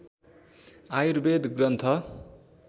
Ayurveda Granth